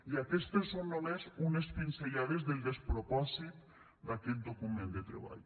i aquestes són només unes pinzellades del despropòsit d’aquest document de treball